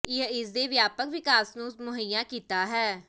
ਇਹ ਇਸ ਦੇ ਵਿਆਪਕ ਵਿਕਾਸ ਨੂੰ ਮੁਹੱਈਆ ਕੀਤਾ ਹੈ